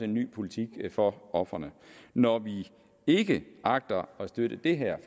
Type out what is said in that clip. ny politik for ofrene når vi ikke agter at støtte det her